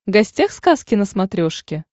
гостях сказки на смотрешке